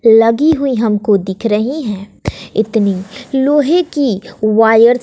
लगी हुई हमको दिख रही है इतनी लोहे की वायर --